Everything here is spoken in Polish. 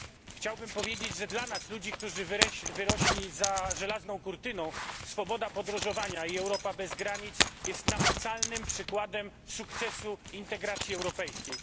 Chciałbym powiedzieć, że dla nas, ludzi, którzy wyrośli za żelazną kurtyną, swoboda podróżowania i Europa bez granic jest namacalnym przykładem sukcesu integracji europejskiej.